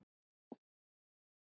Góðir hálsar, létt er sú!